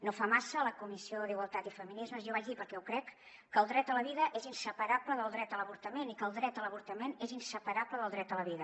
no fa massa a la comissió d’igualtat i fe·minismes jo vaig dir perquè ho crec que el dret a la vida és inseparable del dret a l’avortament i que el dret a l’avortament és inseparable del dret a la vida